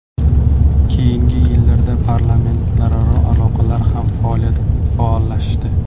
Keyingi yillarda parlamentlararo aloqalar ham faollashdi.